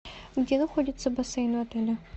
где находится бассейн в отеле